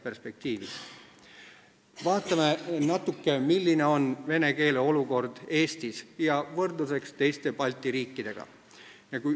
Vaatame natuke, milline on vene keele olukord Eestis ja toome võrdluse teiste Balti riikidega.